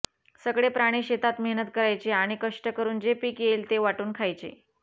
सगळे प्राणी शेतात मेहनत करायचे आणि कष्ट करून जे पीक येईल ते वाटून खायचे